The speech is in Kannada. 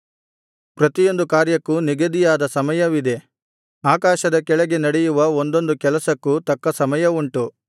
ಪ್ರತಿಯೊಂದು ಕಾರ್ಯಕ್ಕೂ ನಿಗದಿಯಾದ ಸಮಯವಿದೆ ಆಕಾಶದ ಕೆಳಗೆ ನಡೆಯುವ ಒಂದೊಂದು ಕೆಲಸಕ್ಕೂ ತಕ್ಕ ಸಮಯವುಂಟು